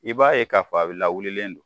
I b'a ye k'a fɔ a lawulilen don